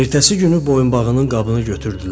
Ertəsi günü boyunbağının qabını götürdülər,